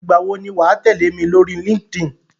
Ìgbà wò ni wà á tẹ̀lẹ́ mi lórí Linkedin?